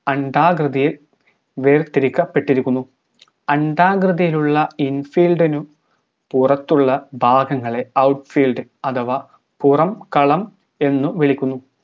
അണ്ഡാകൃതിയിൽ വേർതിരിക്കപ്പെട്ടിരിക്കുന്നു അണ്ഡാകൃതിയിലുള്ള infield നും പുറത്തുള്ള ഭാഗങ്ങളെ outfield അഥവാ പുറംകളം എന്നും വിളിക്കുന്നു